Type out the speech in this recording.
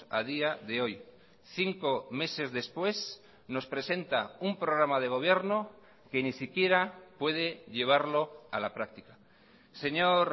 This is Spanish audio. a día de hoy cinco meses después nos presenta un programa de gobierno que ni siquiera puede llevarlo a la práctica señor